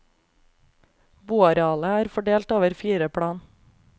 Boarealet er fordelt over fire plan.